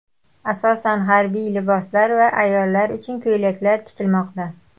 Asosan harbiy liboslar va ayollar uchun ko‘ylaklar tikilmoqda.